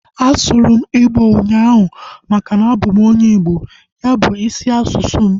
A sụrụ m igbo ụnyaahụ maka na abụ m onye Igbo. Ya bu isi asụsụ m